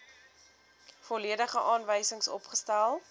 volledige aanwysings opgestel